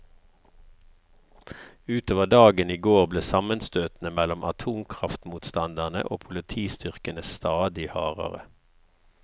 Ut over dagen i går ble sammenstøtene mellom atomkraftmotstanderne og politistyrkene stadig hardere.